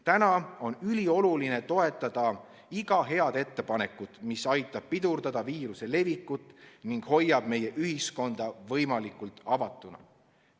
Praegu on ülioluline toetada iga head ettepanekut, mis aitab pidurdada viiruse levikut ning hoiab meie ühiskonna võimalikult avatuna.